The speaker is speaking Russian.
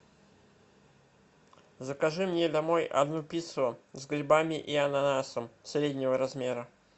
закажи мне домой одну пиццу с грибами и ананасом среднего размера